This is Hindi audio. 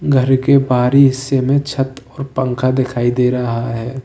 घर के बाहरी हिस्से में छत और पंखा दिखाई दे रहा है।